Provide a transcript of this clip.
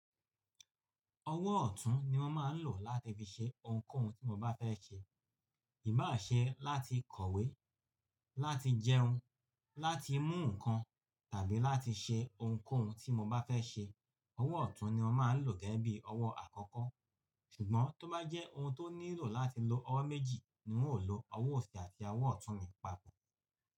Ọwọ́ ọ̀tún ni mo máa ń lò láti fi ṣe ohunkóhun tí mo bá fẹ́ ṣe, ìbá ṣe láti kọ̀wé, láti jẹun, láti mú nǹkan tàbí láti ṣe ohunkóhun tí mo bá fẹ́ ṣe. Ọwọ́ ọ̀tún ni mo máa ń lò gẹ́gẹ́ bí i ọwọ́ àkọ́kọ́. Ṣùgbọ́n tó bá jẹ́ ohun tó nílò láti lo ọwọ́ méjì ni n óò lo ọwọ́ òsì àti ọwọ́ ọ̀tún mi papọ̀.